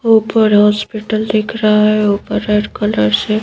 ऊपर हॉस्पिटल दिख रहा है। ऊपर रेड कलर से--